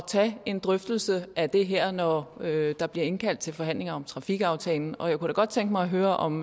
tage en drøftelse af det her når der bliver indkaldt til forhandlinger om trafikaftalen og jeg kunne da godt tænke mig at høre om